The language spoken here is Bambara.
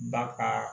Ba kaa